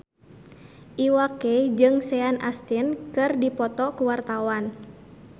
Iwa K jeung Sean Astin keur dipoto ku wartawan